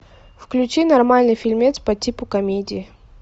включи нормальный фильмец по типу комедии